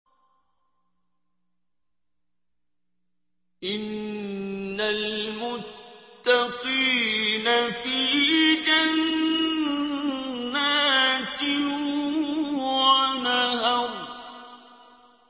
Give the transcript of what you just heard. إِنَّ الْمُتَّقِينَ فِي جَنَّاتٍ وَنَهَرٍ